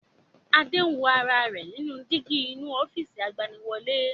Adé ń wo ara rẹ̀ nínú dígí inú ofiisi agbaniwọlẹ́